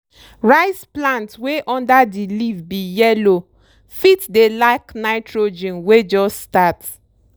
rice plant wey under di leaf be yellow fit dey lack nitrogen wey jus start.